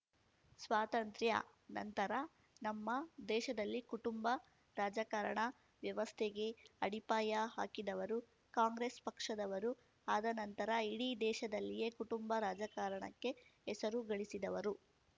ಸ್ವಾತಂತ್ರ್ಯ ನಂತರ ನಮ್ಮ ದೇಶದಲ್ಲಿ ಕುಟುಂಬ ರಾಜಕಾರಣ ವ್ಯವಸ್ಥೆಗೆ ಅಡಿಪಾಯ ಹಾಕಿದವರು ಕಾಂಗ್ರೆಸ್ ಪಕ್ಷದವರು ಆದ ನಂತರ ಇಡೀ ದೇಶದಲ್ಲಿಯೇ ಕುಟುಂಬ ರಾಜಕಾರಣಕ್ಕೆ ಹೆಸರು ಗಳಿಸಿದವರು